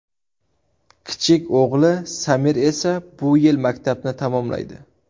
Kichik o‘g‘li Samir esa bu yil maktabni tamomlaydi.